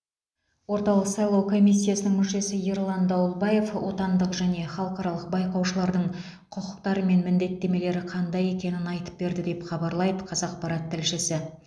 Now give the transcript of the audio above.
орталық сайлау комиссиясының мүшесі ерлан дауылбаев отандық және халықаралық байқаушылардың құқықтары мен міндеттемелері қандай екенін айтып берді деп хабарлайды қазақпарат тілшісі